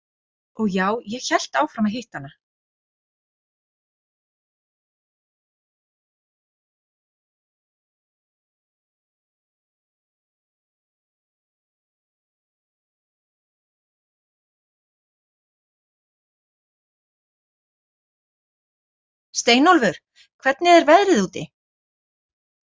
Steinólfur, hvernig er veðrið úti?